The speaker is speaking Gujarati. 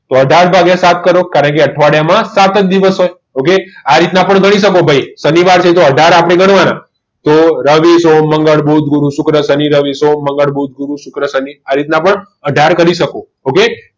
તો અઢાર ભાગીય સાત કરો કારણ કે અઠવાડિયામાં સાત દિવસ હોય આ રીતના પણ ગણી શકો ભાઈ શનિવારથી આપણે અઢાર ગણવાના તો રવિ સોમ મંગળ બુધ ગુરુ શુક્ર શનિ રવિ સોમ મંગળ બુધ ગુરુ શુક્ર શનિ રવિ આ રીતના પણ અઢાર ગણી શકો okay